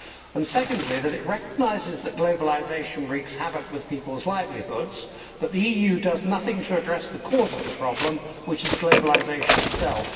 and secondly, that it recognises that globalisation wreaks havoc with peoples' livelihoods, but the EU does nothing to address the cause of the problem which is globalisation itself.